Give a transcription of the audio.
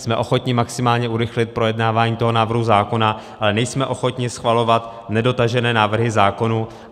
Jsme ochotni maximálně urychlit projednávání toho návrhu zákona, ale nejsme ochotni schvalovat nedotažené návrhy zákonů.